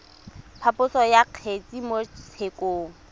phaposo ya kgetse mo tshekong